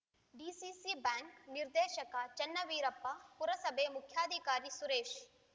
DCC bank ನಿರ್ದೇಶಕ ಚನ್ನವೀರಪ್ಪ ಪುರಸಭೆ ಮುಖ್ಯಾಧಿಕಾರಿ ಸುರೇಶ್‌